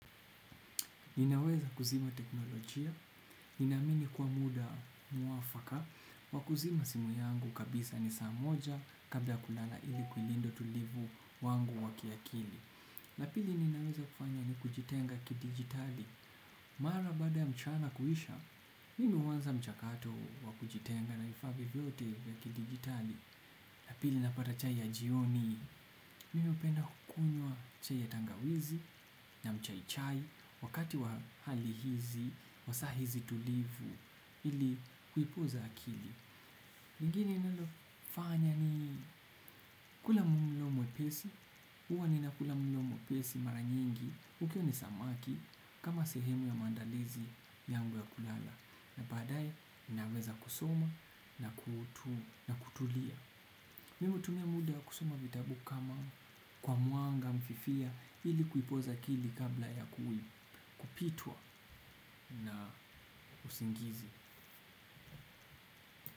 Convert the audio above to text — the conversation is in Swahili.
Ninaweza kuzima teknolojia, ninaamini kwa muda mwafaka, wa kuzima simu yangu kabisa ni saa moja kabla ya kulala ili kulinda utulivu wangu wa kiakili. Na pili, ninaweza kufanya ni kujitenga kidijitali, mara baada ya mchana kuisha, ninaanza mchakato wa kujitenga na vifaa vyote vya kidijitali. Na pili napata chai ya jioni, mimi hupenda kunywa chai ya tangawizi na chai ya majani, wakati wa hali hizi, wa saa hizi tulivu, ili kupumzisha akili. Lingine ninalofanya ni kula mlo mwepesi, huwa ninakula mlo mwepesi mara nyingi, ukiwa ni samaki, kama sehemu ya maandalizi yangu ya kulala. Na baadaye naweza kusoma na kutulia. Mimi hutumia muda wa kusoma vitabu kwa mwanga fifia ili kupoza akili kabla ya kupitwa na usingizi.